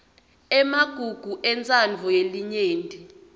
emagugu entsandvo yelinyenti